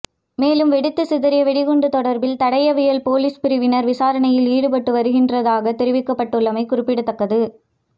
மேலும் வெடித்து சிதறிய வெடிகுண்டு தொடர்பில் தடயவியல் பொலிஸ் பிரிவினர் விசாரணையில் ஈடுபட்டு வருகின்றதாக தெரிவிக்கபட்டுள்ளமை குறிப்பிடத்தக்கது